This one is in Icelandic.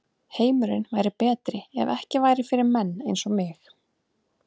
Heimurinn væri betri ef ekki væri fyrir menn eins og mig.